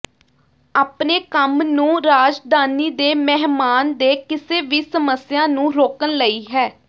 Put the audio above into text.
ਆਪਣੇ ਕੰਮ ਨੂੰ ਰਾਜਧਾਨੀ ਦੇ ਮਹਿਮਾਨ ਦੇ ਕਿਸੇ ਵੀ ਸਮੱਸਿਆ ਨੂੰ ਰੋਕਣ ਲਈ ਹੈ